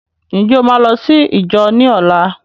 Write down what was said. Ǹjẹ́ o máa lọ sí íjọ ní ọlá?